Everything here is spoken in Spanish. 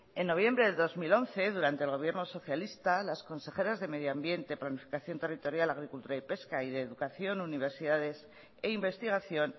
en noviembre de dos mil once durante el gobierno socialista las consejeras de medio ambiente planificación territorial agricultura y pesca y de educación universidades e investigación